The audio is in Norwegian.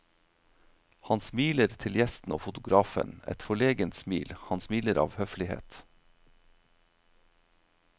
Han smiler til gjesten og fotografen, et forlegent smil, han smiler av høflighet.